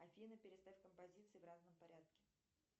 афина переставь композиции в разном порядке